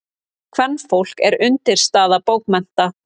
Kvenfólk er undirstaða bókmennta.